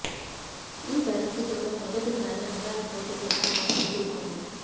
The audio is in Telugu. ఈ పరిస్థితి తో మొదటి సారి అందాల పోటీ నిర్వాహకులు ఎదుర్కొంది